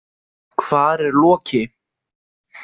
Hvar er Loki?